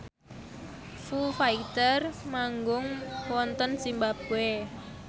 Foo Fighter manggung wonten zimbabwe